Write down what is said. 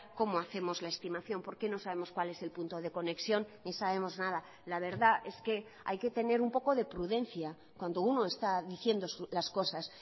cómo hacemos la estimación porque no sabemos cuál es el punto de conexión ni sabemos nada la verdad es que hay que tener un poco de prudencia cuando uno está diciendo las cosas